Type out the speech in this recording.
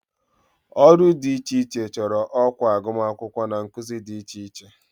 Ọrụ dị iche iche chọrọ ọkwa agụmakwụkwọ na nkuzi dị iche iche